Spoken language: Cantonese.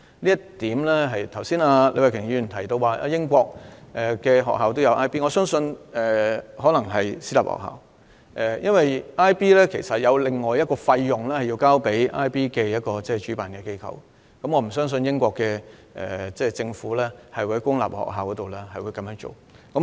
李慧琼議員剛才提到英國學校也有教授 IB 課程，我相信可能是私立學校，因為學生須向 IB 課程的主辦機構支付另一筆費用，所以我不相信英國公立學校會教授 IB 課程。